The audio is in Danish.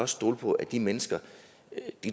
stole på at de mennesker